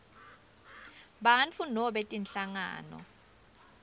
bantfu nobe tinhlangano